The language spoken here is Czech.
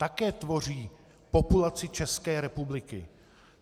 Také tvoří populaci České republiky.